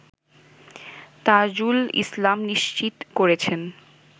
তাজুল ইসলাম নিশ্চিত করেছেন